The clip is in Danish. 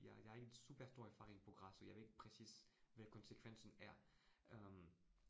Jeg jeg ikke super stor erfaring på græs, så jeg ved ikke præcis, hvad konsekvensen er øh